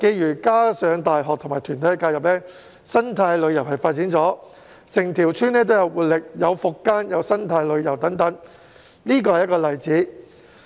再加上大學和團體介入，在當地發展生態旅遊，整條村變得更有活力，並發展復耕和生態旅遊等，這是一個例子。